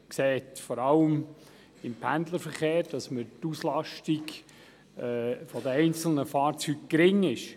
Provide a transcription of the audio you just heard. Er sieht vor allem, dass im Pendlerverkehr die Auslastung der einzelnen Fahrzeuge gering ist.